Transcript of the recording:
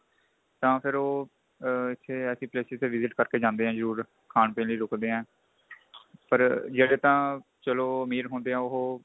ਤਾਂ ਫੇਰ ਉਹ ਆ ਇਹ ਹੈ ਕੀ places ਤੇ visit ਕਰ ਕੇ ਜਾਂਦੇ ਏ ਜਰੂਰ ਖਾਣ ਪੀਣ ਲਈ ਰੁਕਦੇ ਏ ਪਰ ਚਲੋ ਜਿਹੜੇ ਤਾਂ ਚਲੋ ਅਮੀਰ ਹੁੰਦੇ ਏ ਉਹ